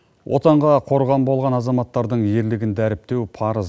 отанға қорған болған азаматтрадың ерлігін дәріптеу парыз